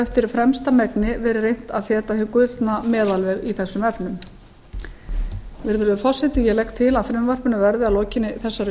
eftir fremsta megni verið reynt að feta hinn gullna meðalveg í þessum efnum virðulegur forseti ég legg til að frumvarpinu verði að lokinni þessari